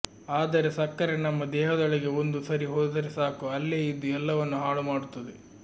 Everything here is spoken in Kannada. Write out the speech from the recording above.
ಆದರೆ ಸಕ್ಕರೆ ನಮ್ಮ ದೇಹದೊಳಗೆ ಒಂದು ಸರಿ ಹೋದರೆಸಾಕು ಅಲ್ಲೇ ಇದ್ದು ಎಲ್ಲವನ್ನು ಹಾಳುಮಾಡುತ್ತದೆ